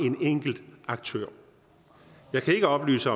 en enkelt aktør jeg kan ikke oplyse